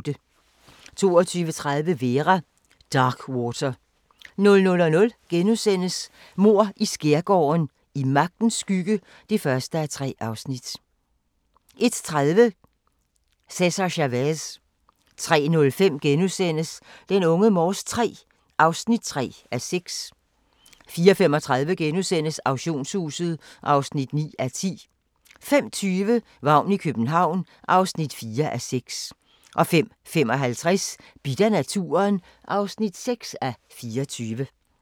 22:30: Vera: Darkwater 00:00: Mord i skærgården: I magtens skygge (1:3)* 01:30: Cesar Chavez 03:05: Unge Morse III (3:6)* 04:35: Auktionshuset (9:10)* 05:20: Vagn i København (4:6) 05:55: Bidt af naturen (6:24)